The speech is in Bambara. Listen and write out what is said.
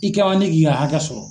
I ka ne k'i ka hakɛ sɔrɔ